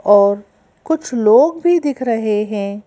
और कुछ लोग भी दिख रहे हैं।